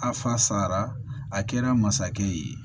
A fasara a kɛra masakɛ ye